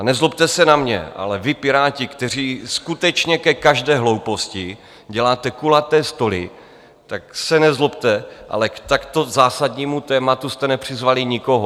A nezlobte se na mě, ale vy, Piráti, kteří skutečně ke každé hlouposti děláte kulaté stoly, tak se nezlobte, ale k takto zásadnímu tématu jste nepřizvali nikoho.